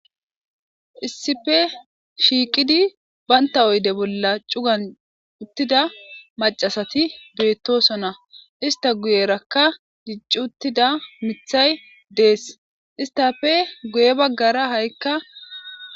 issife shiiqidi baynta oyde bolla cugan uttida macasati beettosonna ista guyerakka dicci uttida mithay dees istafe guye baggara ha7ikka